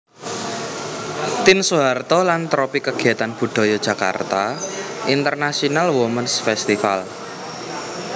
Tien Soeharto lan tropi kegiatan budaya Jakarta International Womens Festival